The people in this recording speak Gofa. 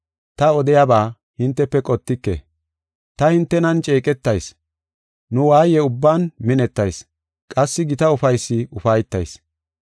Ta odiyaba hintefe qotike; ta hintenan ceeqetayis; nu waaye ubban minettayis; qassi gita ufaysi ufaytayis.